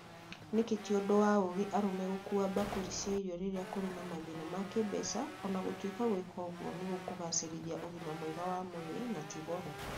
Nĩkĩ ti ũndũ wa ũũgĩ arũme gũkua bakũri cia irio rĩrĩa kũrĩ na mathĩna ma kĩĩmbeca, o na gũtwĩka gwika ũguo nĩ gũkũ gacerithia ũgima mwega wa mwĩrĩ na ti goro?